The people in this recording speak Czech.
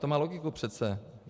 To má logiku přece.